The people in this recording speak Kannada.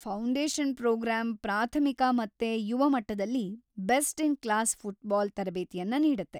ಫೌಂಡೇಷನ್‌ ಪ್ರೊಗ್ರಾಮ್‌ ಪ್ರಾಥಮಿಕ ಮತ್ತೆ ಯುವ ಮಟ್ಟದಲ್ಲಿ ಬೆಸ್ಟ್-ಇನ್‌-ಕ್ಲಾಸ್ ಫುಟ್ಬಾಲ್‌ ತರಬೇತಿಯನ್ನ ನೀಡುತ್ತೆ.